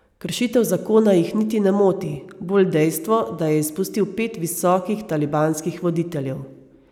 Kršitev zakona jih niti ne moti, bolj dejstvo, da je izpustil pet visokih talibanskih voditeljev.